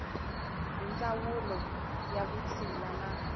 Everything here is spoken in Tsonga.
hi ndzawulo ya vutshila na